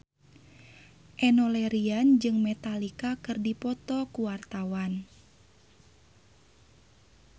Enno Lerian jeung Metallica keur dipoto ku wartawan